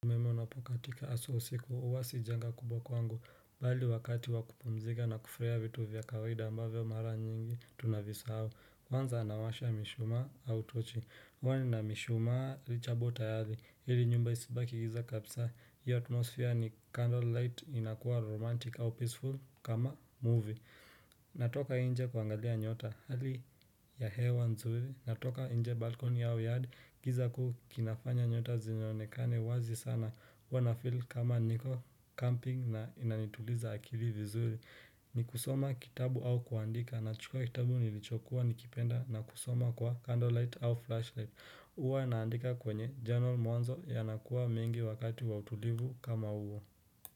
Umeme unapokatika aswa usiku, huwasi janga kubwa kwangu, bali wakati wakupumzika na kufurahia vitu vya kawahida ambavyo mara nyingi, tunavisahau, kwanza anawasha mishuma au tochi, huwa nina mishuma richa bota yadi, hili nyumba isibaki giza kapsa, hii atmosfya ni candlelight inakuwa romantic au peaceful kama movie. Natoka inje kuangalia nyota hali ya hewa nzuri natoka inje balcony au yard giza kukinafanya nyota zinyonekane wazi sana Wanafil kama niko camping na inanituliza akili vizuli Nikusoma kitabu au kuandika na chukua kitabu nilichokuwa nikipenda na kusoma kwa candlelight au flashlight Uwa naandika kwenye journal mwanzo yanakuwa mingi wakati wa utulivu kama huo.